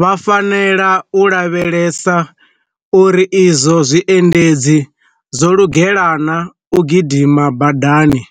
Vha fanela u lavhelesa uri izwo zwiendedzi zwo lugela na u gidima badani,